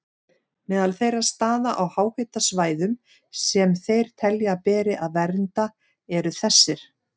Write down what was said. Meðal þeirra staða á háhitasvæðum sem þeir telja að beri að vernda eru þessir